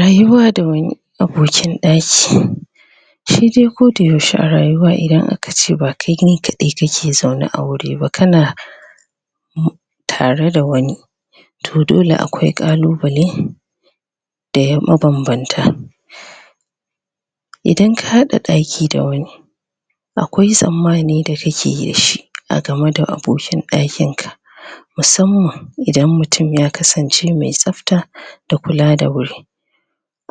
Rayuwa da wani abokin ɗaki shi dai koda yaushe a rayuwa idan aka ce ba kai ne kaɗai kake zaune a wuri ba kana tare da wani to dole akwai ƙalubale da ƴan mabambanta idan ka haɗa ɗaki da wani akwai tsammani da kake yi da shi a game da abokin ɗakin ka musamman idan mutum ya kasance mai tsafta da kula da wuri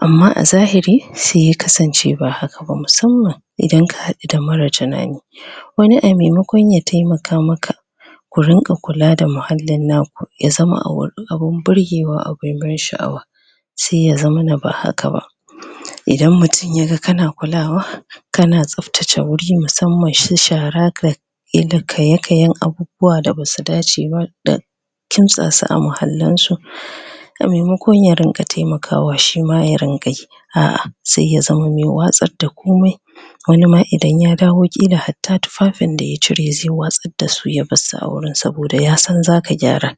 amma a zahiri sai ya kasance ba haka ba musamman idan ka haɗu da mara tunani wani abun maimakon ya taimaka maka ku rinƙa kuka da muhallin naku ya zama abun burgewa abun ban sha'awa sai ya zamana ba haka ba idan mutum ya ga kana kulawa kana tsaftace wuri musamman su shara ka yi kaye-kayen abubuwa da basu dace ba da kimtsa su a muhallin su a maimakon ya rinƙa taimakawa shima ya rinƙa yi a'a sai ya zamo mai watsar da komai wani ma idan ya dawo ƙila hatta tufafin da ya cire zai watsar da su ya bar su a wurin saboda ya san zaka gyara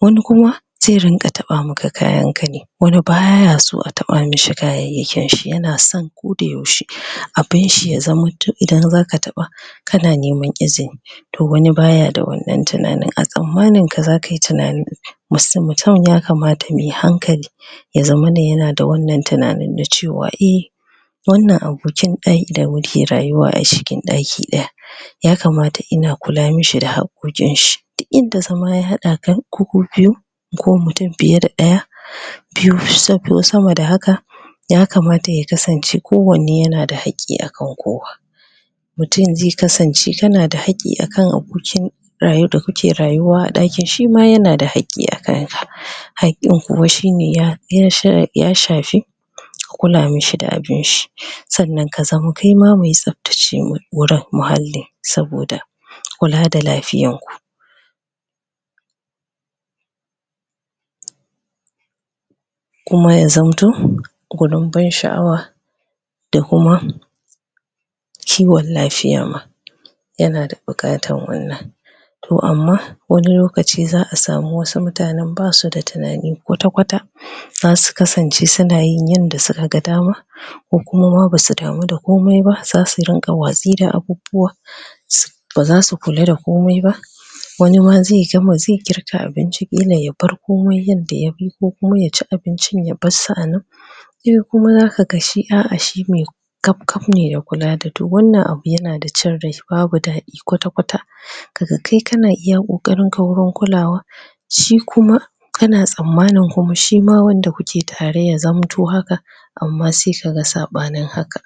wani kuma zai rinƙa taɓa maka kayan ka ne wani baya son a taɓa mishi kayayyakin shi yana son koda yaushe abun shi ya zamanto idan zaka taɓa kana neman izini to wani baya da wannan tunanin a tsammanin ka zaka yi tunanin mutum ya kamata mai hankali ya zamana yana da wannan tunanin cewa i wannan abokin ɗaki da muke rayuwa a cikin ɗaki ɗaya ya kamata ina kula mishi da haƙƙoƙin shi yadda zama ya haɗa ka ku ku biyu ko mutum fiye da ɗaya biyu wasu sama da haka ya kamata ya kasance kowanneyana da haƙƙi a kan kowa mutum zai kasance kana da haƙƙi a kan abokin da kuke rayuwa a ɗakin shima yana da haƙƙi akan ka haƙƙin kuma shine ya shafi kula mishi da abunshi sannan kaima ka kasance mai tsaftace wurin muhalli saboda kula da lafiyan ku kuma ya zamto gurin ban sha'awa da kuma kiwon lafiya ma yana da buƙatar wannan to amma wani lokaci za a samu wasu mutanen basu da tunani kwata-kwata zasu kasance suna yin yanda suka ga dama kuma ma basu damu da komai ba zasu rinƙa watsi da abubuwa? baza su kula da komai ba wani ma zai girka abinci ya bar komai yadda ya yi ko kuma ya ci abincin ya barsu a nan? kaf kaf ne da kula da to wannan abu yana da cin rai babu daɗi kwata-kwata kaga kai kana iya ƙoƙarin ka wurin kulawa shi kuma kana tsammanin kuma shima wannan da kuke tare ya zamta haka amma sai kaga saɓanin haka